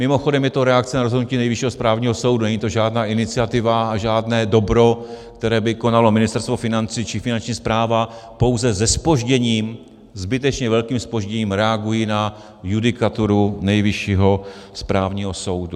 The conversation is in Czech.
Mimochodem je to reakce na rozhodnutí Nejvyššího správního soudu, není to žádná iniciativa a žádné dobro, které by konalo Ministerstvo financí či Finanční správa, pouze se zpožděním, zbytečně velkým zpožděním reagují na judikaturu Nejvyššího správního soudu.